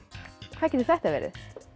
hvað getur þetta verið